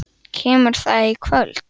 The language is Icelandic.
Kemur það í kvöld?